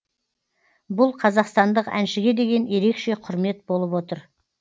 бұл қазақстандық әншіге деген ерекше құрмет болып отыр